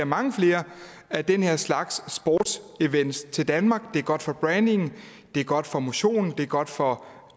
mange flere af den her slags sportsevents til danmark det er godt for brandingen det er godt for motionen det er godt for